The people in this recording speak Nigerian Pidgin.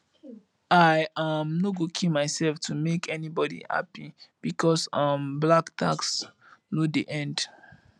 i um no go kill myself to make anybodi hapi because um black tax no dey end